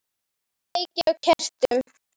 Kveiki á kertum.